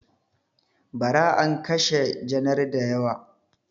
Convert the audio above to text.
Ba ra an kashe janar da yawa